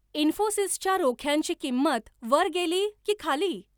इन्फोसिसच्या रोख्यांची किंमत वर गेली की खाली?